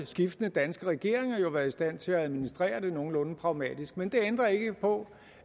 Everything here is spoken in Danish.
skiftende danske regeringer har også været i stand til at administrere det nogenlunde pragmatisk men det ændrer ikke på